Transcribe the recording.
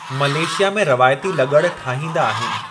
Malaysia में रवायती लुग़ड़ ठाहींदा आहिनि।